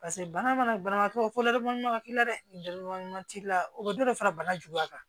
Paseke bana mana banabagatɔ fo la ma ka k'i la dɛ t'i la o ka dɔ fara bana juguya kan